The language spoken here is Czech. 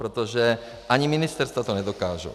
Protože ani ministerstva to nedokážou.